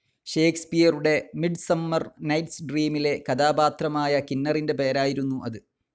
ഷേക്സ്പിയറുടെ Midsummer Night's ഡ്രീമിലെ കഥാപാത്രമായ കിന്നറിൻ്റെ പേരായിരുന്നു അത്.